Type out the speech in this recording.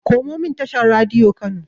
Komomin tashar Radiyo Kano.